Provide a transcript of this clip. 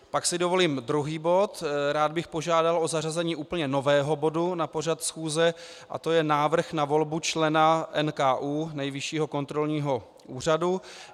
Pak si dovolím druhý bod - rád bych požádal o zařazení úplně nového bodu na pořad schůze, a to je Návrh na volbu člena NKÚ, Nejvyššího kontrolního úřadu.